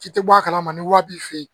Ci tɛ bɔ a kalama ni wari b'i fɛ yen